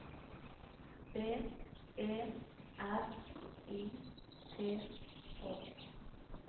B E R I T H